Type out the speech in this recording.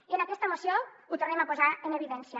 i en aquesta moció ho tornem a posar en evidència